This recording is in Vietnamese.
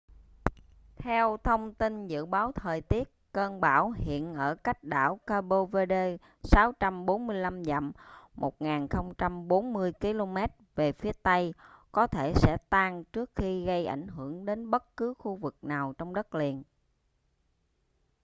theo thông tin dự báo thời tiết cơn bão hiện ở cách đảo cape verde 645 dặm 1040 km về phía tây có thể sẽ tan trước khi gây ảnh hưởng đến bất cứ khu vực nào trong đất liền